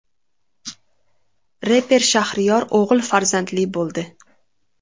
Reper Shahriyor o‘g‘il farzandli bo‘ldi.